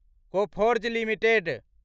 Coforge limited